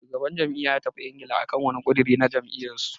Shugaban jam'iyyar ya tafi Ingila akan wani ƙudiri na jam'iyyar su.